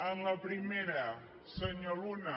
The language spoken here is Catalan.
en la primera senyor luna